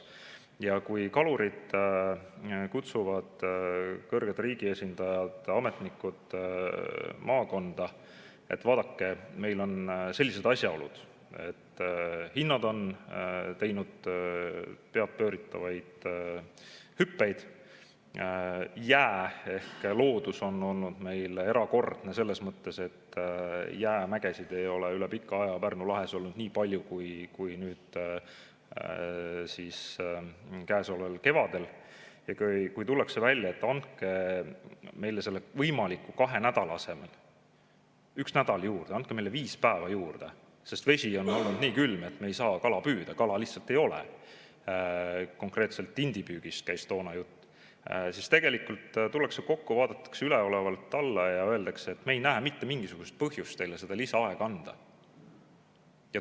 Ja kui kalurid kutsuvad kõrged riigiesindajad, ametnikud maakonda, et vaadake, meil on sellised asjaolud, et hinnad on teinud peadpööritavaid hüppeid, jää ehk loodus on olnud erakordne selles mõttes, et jäämägesid ei ole üle pika aja olnud Pärnu lahes nii palju kui käesoleval kevadel, ja tullakse välja, et andke meile sellele kahele nädalale üks nädal juurde, andke meile viis päeva juurde, sest vesi on olnud nii külm, et me ei saa kala püüda, kala lihtsalt ei ole – konkreetselt tindipüügist käis toona jutt –, siis tullakse kokku, vaadatakse üleolevalt alla ja öeldakse, et me ei näe mitte mingisugust põhjust teile lisaaega anda.